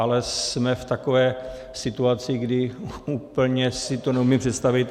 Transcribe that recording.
Ale jsme v takové situaci, kdy úplně si to neumím představit.